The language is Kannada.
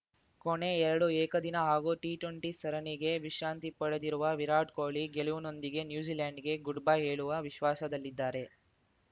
ಕೊನೆ ಎರಡು ಏಕದಿನ ಹಾಗೂ ಟಿಟ್ವೆಂಟಿ ಸರಣಿಗೆ ವಿಶ್ರಾಂತಿ ಪಡೆದಿರುವ ವಿರಾಟ್‌ ಕೊಹ್ಲಿ ಗೆಲುವಿನೊಂದಿಗೆ ನ್ಯೂಜಿಲೆಂಡ್‌ಗೆ ಗುಡ್‌ಬೈ ಹೇಳುವ ವಿಶ್ವಾಸದಲ್ಲಿದ್ದಾರೆ